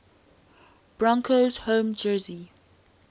broncos home jersey